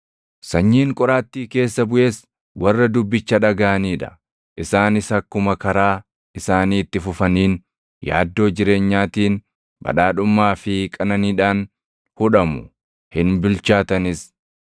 Sanyiin qoraattii keessa buʼes warra dubbicha dhagaʼanii dha; isaanis akkuma karaa isaanii itti fufaniin yaaddoo jireenyaatiin, badhaadhummaa fi qananiidhaan hudhamu; hin bilchaatanis.